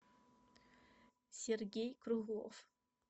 сергей круглов